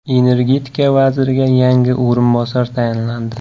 Energetika vaziriga yangi o‘rinbosar tayinlandi.